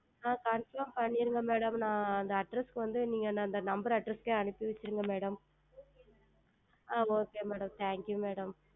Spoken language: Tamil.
ஆஹ் Confirm செய்திடுங்கள் Madam நான் அந்த Address க்கு வந்து அந்த NumberAddress க்கே அனுப்பி வைத்திருங்கள் Madam ஆஹ் Okay MadamThank YouMadam